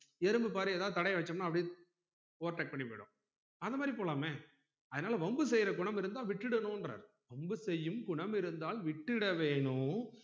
எறும்பு பாரு எதாவுது தடையம் வச்சம்னா அப்டியே overtake பண்ணி போய்டும் அந்த மாதிரி போலாமே அதுனால வம்பு செய்யுற குணம் இருந்தா விட்டுடனும்ங்கிறாரு வம்பு செய்யும் குணம் இருந்தால் விட்டுட வேணும்